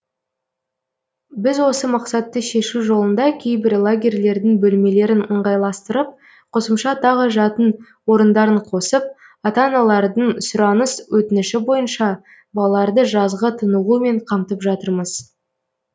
біз осы мақсатты шешу жолында кейбір лагерьлердің бөлмелерін ыңғайластырып қосымша тағы жатын орындарын қосып ата аналардың сұраныс өтініші бойынша балаларды жазғы тынығумен қамтып жатырмыз